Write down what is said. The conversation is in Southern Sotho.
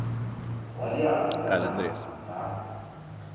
wa leano la naha la